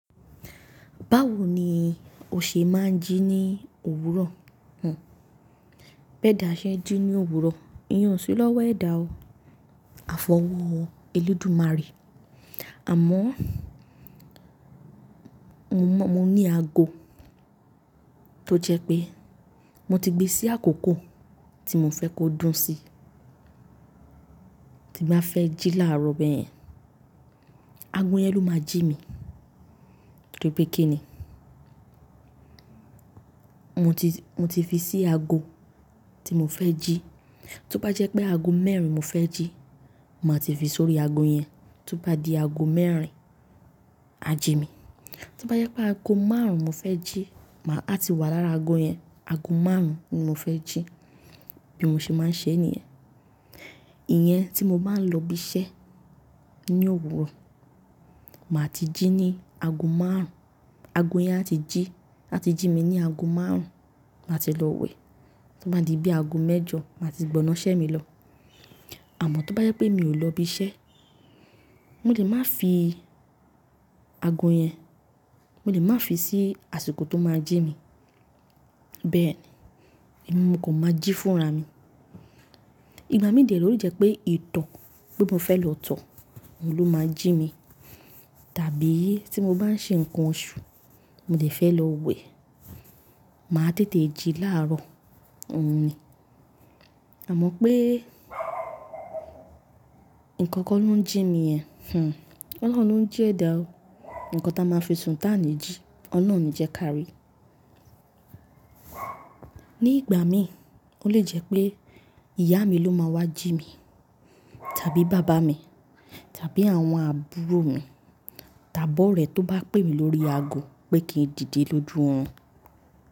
Báwo ni o ṣe máa ń jí ní òwúrọ̀? B'ẹ̀dá sẹ́ jí ní òwúrọ̀, ìyẹn ó ṣí lọ́wọ́ ẹ̀dà o. Àfọwọ́ Olódùmarè. Àmọ́ mo mọ̀ mo ní ago tó jẹ́ pé mo ti gbé sí àkókò tí mo fẹ́ kó dún sí. Tí bá fẹ́ jí láàárọ̀ bẹ́ẹ̀, ago yẹn ló máa jí mi. Torí pé kí ni? Mo ti, mo ti fi sí ago tí mo fẹ́ jí. Tó bá jẹ́ pé ago mẹ́rin mo fẹ́ jí, màá ti fi sórí ago yẹn. Tó bá di ago mẹ́rin, á jí mi. Tó bá jẹ́ pé ago márùn-ún mo fẹ́ jí, màá ti wà lára ago yẹn. Ago márùn-ún ni mo fẹ́ jí. Bí mo ṣe máa ń ṣe níyẹn. Ìyẹn tí mo bá ń lọ ibi iṣẹ́ ní òwúrọ̀, màá ti jí ní ago márùn-ún. Ago yẹn á ti jí, á ti jí mi ní ago márùn-ún, màá ti lọ wẹ̀. Tí ó bá di bí ago mẹ́jọ, màá ti gbọná iṣẹ́ mi lọ. Àmọ́ tó bá jẹ́ pé mi ò lọ ibi iṣẹ́, mo lè má fi ago yẹn, mo lè má fi sí àsìkò tó máa jí mi. Bẹ́ẹ̀ ni, èmi mo kò máa jí fúnra mí. Ìgbà mí dẹ rẹ̀ ó lè jẹ pé ìtọ̀ pé fẹ́ lọ tọ̀, òun ló máa jí mi. Tàbí tí mo bá ń ṣe nǹkan oṣù, mo lè fẹ́ lọ wẹ̀. Màá tètè jí láàrọ̀, òun ni. Àmọ́ pé nǹkan kàn ló ń jí mi yẹn, Ọlọ́run lóhùn jí ẹ̀dà o. Nǹkan tí a máa fi sùn tá ni jí, Ọlọ́run ò ni jẹ́ ká rí. Ní ìgbà mí, ó lè jẹ́ pé ìyá mi ló máa wá jí mi, tàbí bàbá mi, tàbí àwọn àbúrò mi. Tàbí ọ̀rẹ́ tó bá pè mí lórí ago pé kí n dìde lójú òrùn.